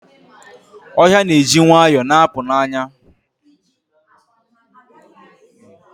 Ohia na-eji nwayọ na-apụ n'anya.